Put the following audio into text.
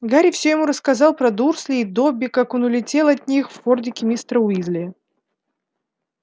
гарри все ему рассказал про дурслей и добби как он улетел от них в фордике мистера уизли